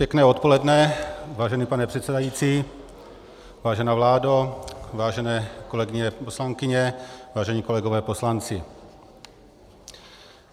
Pěkné odpoledne, vážený pane předsedající, vážená vládo, vážené kolegyně poslankyně, vážení kolegové poslanci.